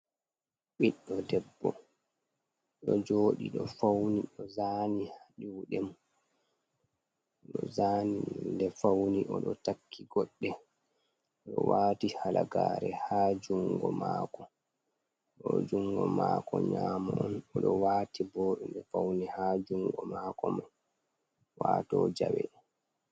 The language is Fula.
Ɓiɗɗo debbo ɗo joɗi ɗo fauni zani ɗo fauni o ɗo takki koɗɗe oɗo wati halagare ha jungo ma'ko, ɗo jungo ma'ko nyamo on oɗo wati bo faune ha jungo ma'ko mai wato jawe.